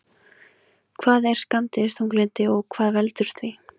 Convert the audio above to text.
Hvað er skammdegisþunglyndi og hvað veldur því?